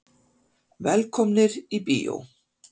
Velkomnir í bíó.